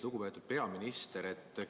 Lugupeetud peaminister!